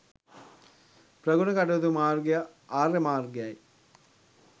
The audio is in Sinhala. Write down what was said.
ප්‍රගුණ කටයුතු මාර්ගය ආර්ය මාර්ගයයි.